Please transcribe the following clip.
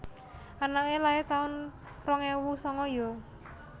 Anake lair taun rong ewu sanga yo?